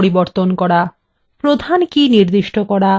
5 প্রধান কী নির্দিষ্ট করা